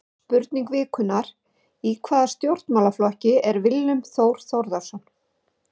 Spurning vikunnar: Í hvaða stjórnmálaflokki er Willum Þór Þórsson?